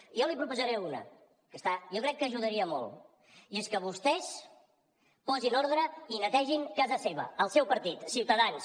jo li’n proposaré una que jo crec que ajudaria molt i és que vostès posin ordre i netegin casa seva el seu partit ciutadans